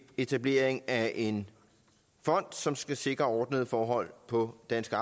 etablering af en fond som skal sikre ordnede forhold på danske